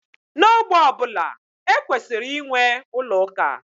N'ogbé ọ bụla, e kwesịrị inwe ụlọ ụka.